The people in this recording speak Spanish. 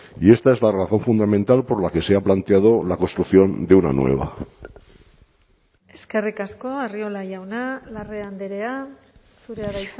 y esta es la razón fundamental por la que se ha planteado la construcción de una nueva eskerrik asko arriola jauna larrea andrea zurea da